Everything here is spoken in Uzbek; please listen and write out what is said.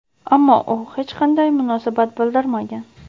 ammo u hech qanday munosabat bildirmagan.